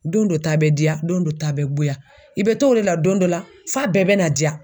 Don dɔ ta bɛ diya don dɔ ta bɛ goya. I bɛ t'o de la don dɔ la f'a bɛɛ bɛ na diya.